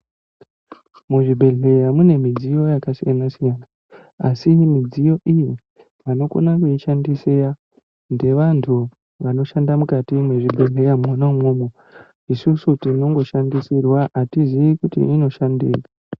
Muzvibhedhleya mune midziyo yakasiyana siyana asi midziyo iyi anokona kuishandisira ngevantu anoshanda mukati mwezvibhedhleya mwona imwomwi isusu tinongoshandisirwa atiziyi kuti inoshandei.